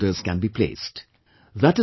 And then the orders can be placed